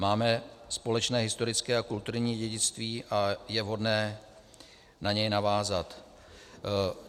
Máme společné historické a kulturní dědictví a je vhodné na něj navázat.